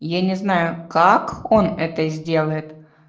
я не знаю как он это сделает